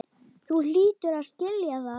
Þú hlýtur að skilja það.